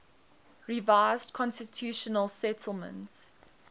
revised constitutional settlement